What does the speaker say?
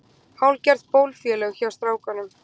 Hálfgerð bófafélög hjá strákunum.